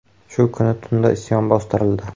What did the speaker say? Shu kuni tunda isyon bostirildi.